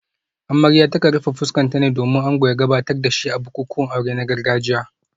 Amarya ta kan rufe fuskarta ne domin ango ya gabatar da shi a bukukuwan aure na gargajiya